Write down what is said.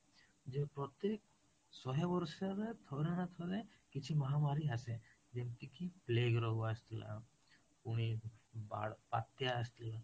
ଯେ ପ୍ରତେକ ଶହେ ବର୍ଷରେ ଥରେ ନା ଥରେ କିଛି ମହାମାରୀ ଆସେ ଯେମିତି କି plaque ରୋଗ ଆସିଥିଲା, ପୁଣି ବାତ୍ୟା ଆସିଥିଲା